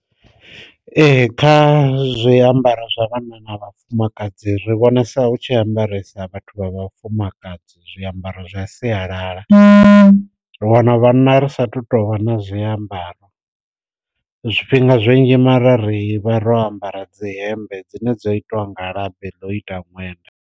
Ee kha zwi ambaro zwa vhanna na vhafumakadzi ri vhonesa hu tshi ambaresa vhathu vha vhafumakadzi zwi ambaro zwa sialala, ri wana vhana ri sathu tovha na zwi ambaro zwifhinga zwinzhi mara ri vha ro ambara dzi hembe dzine dza itiwa nga labi ḽo ita ṅwenda.